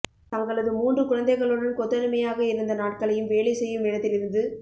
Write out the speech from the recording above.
தங்களது மூன்று குழந்தைகளுடன் கொத்தடிமையாக இருந்த நாட்களையும் வேலை செய்யும் இடத்திலிருந்து